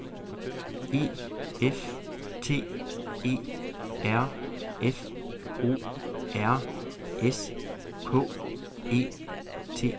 E F T E R F O R S K E T